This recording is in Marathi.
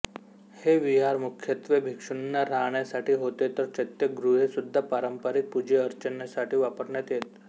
हे विहार मुख्यत्वे भिक्षूंना राहण्यासाठी होते तर चैत्यगृहे सुद्धा पारंपरिक पूजाअर्चेसाठी वापरण्यात येत